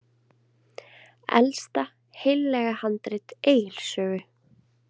Elsta heillega handrit Egils sögu.